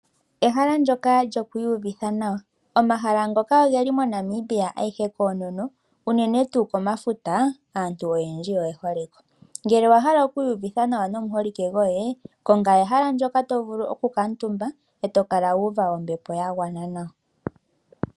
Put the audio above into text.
Ehala ndoka lyoku iyuvitha nawa. Omahala ngoka ogeli moNamibia eyihe koonono, unene tuu komafuta aantu oyendji oye hole ko. Ngele owa hala oku iyuvitha nawa nomuholike goye, konga ehala ndoka to vulu okukuutumba e to kala wa uva ombepo ya gwana nawa.